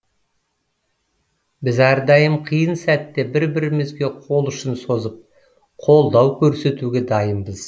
біз әрдайым қиын сәтте бір бірімізге қол ұшын созып қолдау көрсетуге дайынбыз